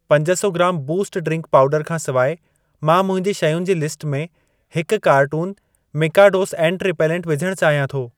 पंज सौ ग्रामु बूस्ट ड्रिंक पाउडरु खां सिवाइ मां मुंहिंजी शयुनि जी लिस्ट में हिकु कार्टुनु मिकाडोस एंट रिपेलेंट विझण चाहियां थो।